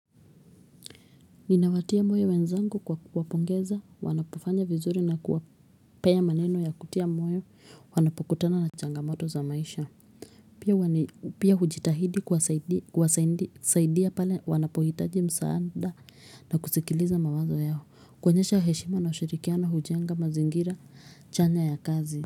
Ninawatia moyo wenzangu kwa kuwapongeza, wanapofanya vizuri na kuwapea maneno ya kutia moyo, wanapokutana na changamoto za maisha. Pia hujitahidi kuwasaidia pale wanapohitaji msaada na kusikiliza mawazo yao, kuonyesha heshima na ushirikiano hujenga mazingira chanya ya kazi.